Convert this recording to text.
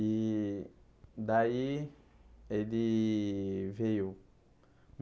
E daí ele veio.